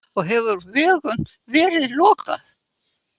Og hefur vegum verið lokað